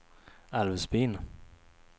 Älvsbyn